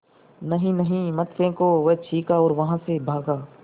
नहीं नहीं मत फेंको वह चीखा और वहाँ से भागा